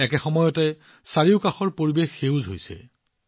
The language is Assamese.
একে সময়তে ইয়াৰ চৌপাশে সেউজীয়াও বৃদ্ধি হৈছে